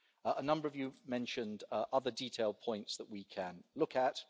A number of you mentioned other detailed points that we can look at.